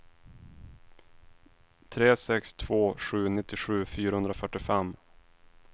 tre sex två sju nittiosju fyrahundrafyrtiofem